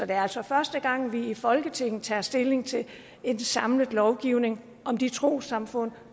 er altså første gang at vi i folketinget tager stilling til en samlet lovgivning om de trossamfund